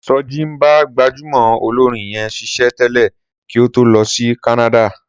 Sọjí ń bá gbajúmọ̀ olórin yẹn ṣiṣẹ́ tẹ̀lé kí ó tó lọ sí Kánádà